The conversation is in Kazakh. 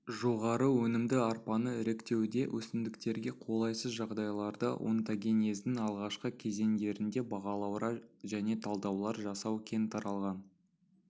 жоғары өнімді арпаны іріктеуде өсімдіктерге қолайсыз жағдайларда онтагенездің алғашқы кезеңдерінде бағалаулар және талдаулар жасау кең таралған